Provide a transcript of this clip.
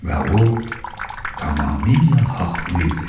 Və o tamamilə haqlı idi.